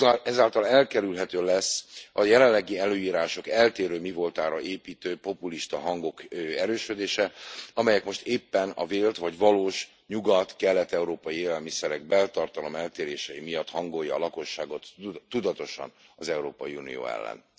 Ezáltal elkerülhető lesz a jelenlegi előírások eltérő mivoltára építő populista hangok erősödése, amelyek most éppen a vélt vagy valós nyugat kelet európai élelmiszerek beltartalom eltérései miatt hangolja a lakosságot tudatosan az Európai Unió ellen.